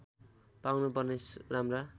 पाउनु पर्ने राम्रा